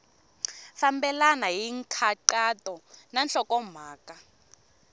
fambelena hi nkhaqato na nhlokomhaka